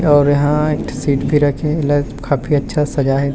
और यहाँ एक ठी सीट भी रखे हे एला काफी अच्छा से सजाये हे।